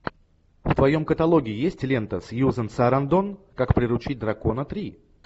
в твоем каталоге есть лента сьюзен сарандон как приручить дракона три